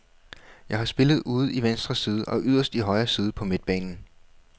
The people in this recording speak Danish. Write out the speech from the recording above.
Jeg har spillet ude i venstre side og yderst i højre side på midtbanen.